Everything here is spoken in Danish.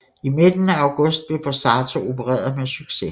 I midten af august blev Borsato opereret med succes